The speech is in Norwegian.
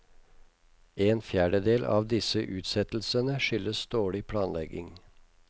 En fjerdedel av disse utsettelsene skyldes dårlig planlegging.